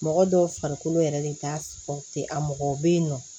Mɔgɔ dɔw farikolo yɛrɛ de t'a fɔ ten a mɔgɔ bɛ yen nɔ